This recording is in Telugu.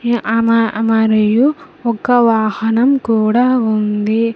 ఆ మ మరియు ఒక వాహనం కూడా ఉంది.